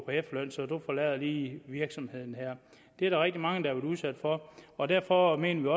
efterløn så du forlader lige virksomheden her det er der rigtig mange været udsat for og derfor mener